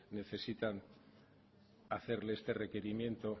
necesitan hacerle este requerimiento